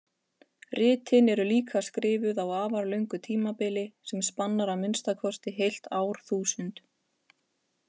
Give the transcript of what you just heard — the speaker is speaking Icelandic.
Ritin eru líka skrifuð á afar löngu tímabili sem spannar að minnsta kosti heilt árþúsund.